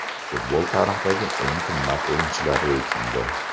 Futbol tarixidagi eng qimmat o‘yinchilar reytingi .